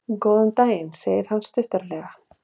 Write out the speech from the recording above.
Góðan daginn, segir hann stuttaralega.